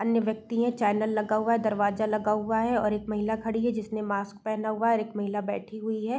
अन्य व्यक्ति है चैनल लगा हुआ हैं दरवाजा लग हुआ है और एक महिला खड़ी है जिसने मास्क पहना हुआ और एक महिला बैठी हुई है।